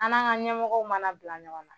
An n'an ka ɲɛmɔgɔw mana bila ɲɔgɔn na